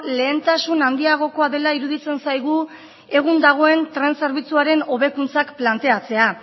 lehentasun handiagokoa dela iruditzen zaigu egun dagoen tren zerbitzuaren hobekuntzak planteatzea